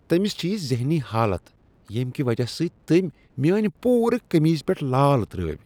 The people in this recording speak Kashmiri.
تٔمس چھ یہ ذہنی حالت ییٚمہ کہ وجہ سۭتۍ تٔمۍ میانِۍ پوٗرٕ قمیضہ پیٹھ لال ترٲوو۔